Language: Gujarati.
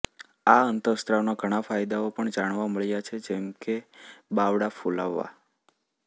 આ અંતઃસ્ત્રાવના ઘણા ફાયદાઓ પણ જાણવા મળ્યા છે જેમ કે બાવડા ફૂલાવવા